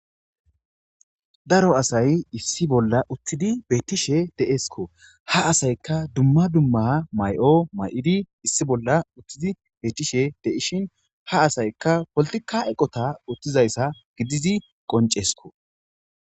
daro asay issi bolla uttiidi bettishshe de'eskko ha asaykka dumma dumma may'o may'idi issi bolla uttidi bettishshe de'ishin ha asaykka poltikka eqotta uttizayssa gidizi qonceskko